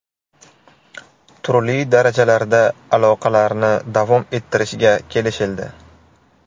Turli darajalarda aloqalarni davom ettirishga kelishildi.